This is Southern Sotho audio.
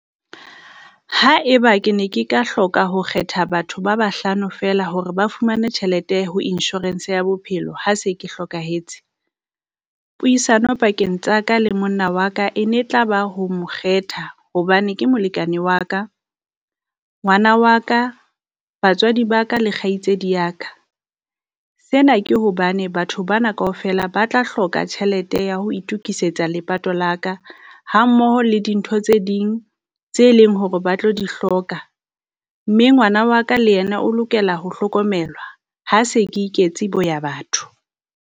Haeba ke ne ke ka hloka ho kgetha batho ba bahlano feela hore ba fumane tjhelete ho insurance ya bophelo, ha se ke hlokahetse. Puisano pakeng tsa ka le monna wa ka e ne tla ba ho mo kgetha, hobane ke molekane wa ka, ngwana wa ka, batswadi ba ka le kgaitsedi ya ka. Sena ke hobane batho bana kaofela ba tla hloka tjhelete ya ho itukisetsa lepato la ka hammoho le dintho tse ding tse leng hore ba tlo di hloka, mme ngwana wa ka le yena o lokela ho hlokomelwa ha se ke iketse boya batho.